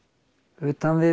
utan við